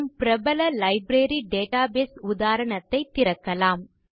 நம் பிரபல library database உதாரணத்தை திறக்கலாம்